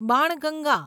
Banganga